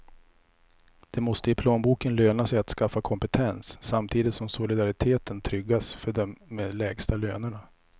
Det måste i plånboken löna sig att skaffa kompetens, samtidigt som solidariteten tryggas för dem med de lägsta lönerna.